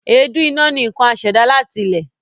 Èédú iná ni nkan asèdá láti ilẹ.